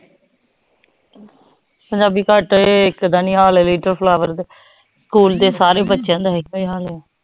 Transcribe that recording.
ਪੰਜਾਬੀ ਘਟ ਏਹ ਇਕ ਦਾ ਨੀ ਹਾਲ ਲਲਿਤ ਫਲੋਵਰ ਸਕੂਲ ਦੇ ਸਾਰੇ ਏਹੀ ਹਾਲ ਆ